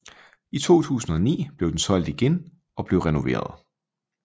I 2009 blev den solgt igen og blev renoveret